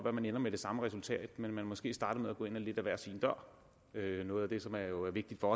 at man ender med det samme resultat men at man måske starter med at gå ind ad hver sin dør noget af det som er vigtigt for